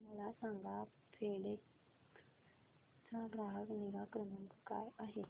मला सांगा फेडेक्स चा ग्राहक निगा क्रमांक काय आहे